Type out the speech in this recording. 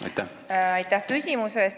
Aitäh küsimuse eest!